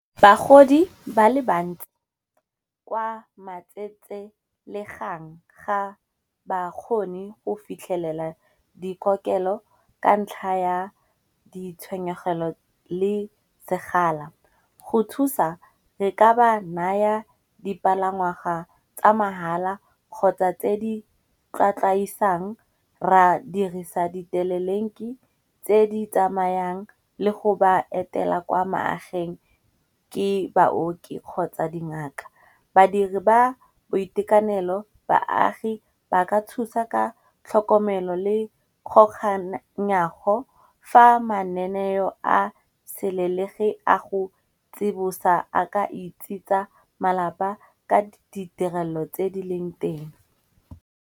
Bagodi ba le bantsi kwa matsetselegang ga bakgoni go fitlhelela dikokelo ka ntlha ya ditshenyegelo le segala. Go thusa re ka ba naya dipalangwaga tsa mahala kgotsa tse di tlatlaisang, ra dirisa ditelelinki tse di tsamayang le go ba etela kwa magaeng ke baoki kgotsa dingaka. Badiri ba boitekanelo baagi ba ka thusa ka tlhokomelo le kgoganyago, fa mananeo a selelegi a go tsibosa a ka itse tsa malapa ka ditirelo tse di leng teng.